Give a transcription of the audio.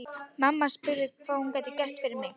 Mamma spurði hvað hún gæti gert fyrir mig.